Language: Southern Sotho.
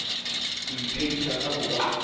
ho iphedisa ka ha ba